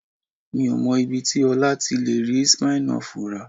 Mi ò mọ ibi tí Ọlá ti lè rí Smirnoff rà